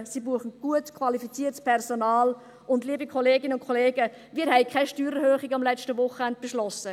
Sie brauchen gut qualifiziertes Personal, und – liebe Kolleginnen und Kollegen – wir haben am letzten Wochenende keine Steuererhöhung beschlossen.